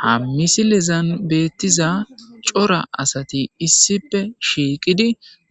Ha misilezan beettiza cora asati issipe shiiqidi